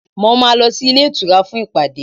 Mo máa lọ sí ilé ìtura fún ìpàdé